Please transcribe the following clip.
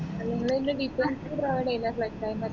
നിങ്ങൾ അതിന്റെ details provide